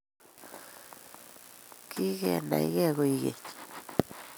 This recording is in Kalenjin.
Kigenaygei koeg keny